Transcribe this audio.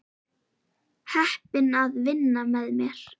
Heppin að vinna með þér.